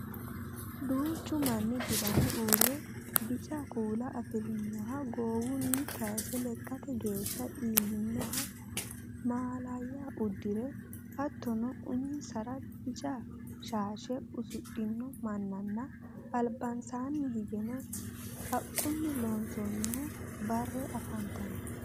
Duuchu maanni dirame uurre bica kuula afirinoha goowunni kayse lekkate geeshsha iillinoha mallayya uddire hattono uminsara bica shaashe usudhino mannanna albansaanni higgeno haqqunni loonsoonni bare afantanno